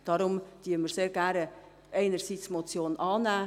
Deshalb nehmen wir einerseits gerne die Motion an.